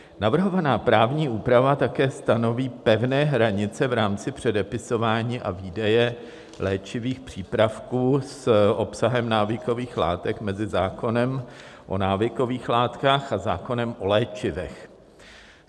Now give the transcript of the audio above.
Navrhovaná právní úprava také stanoví pevné hranice v rámci předepisování a výdeje léčivých přípravků s obsahem návykových látek mezi zákonem o návykových látkách a zákonem o léčivech.